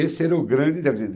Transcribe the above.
Esse era o grande quer dizer,